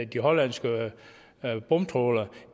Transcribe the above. de hollandske bomtrawlere